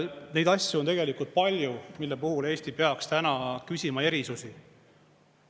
Neid asju on palju, mille puhul Eesti peaks täna küsima erisusi.